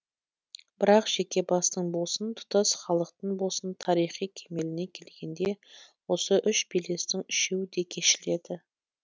бірақ жеке бастың болсын тұтас халықтың болсын тарихи кемеліне келгенде осы үш белестің үшеуі де кешіледі